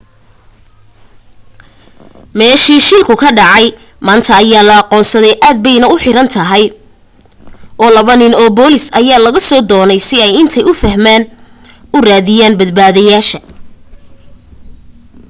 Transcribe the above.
meeshii shilku ka dhacay maanta ayaa la aqoonsaday aad bayna u xayiran tahay oo laba nin oo booliis ayaa lagu soo daayay si ay intay u fantaan u raadiyaan badbaadayaasha